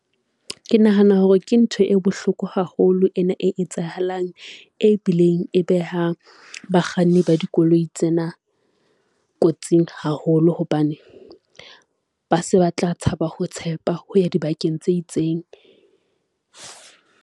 Ke nahana hore ke ntho e bohloko haholo ena e etsahalang, e bileng e behang bakganni ba dikoloi tsena kotsing haholo, hobane ba se ba tla tshaba ho tshepa ho ya di bakeng tse itseng.